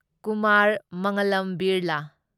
Kumar Mangalam Birla